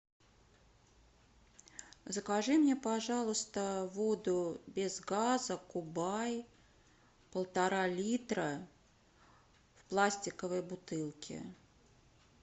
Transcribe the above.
закажи мне пожалуйста воду без газа кубай полтора литра в пластиковой бутылке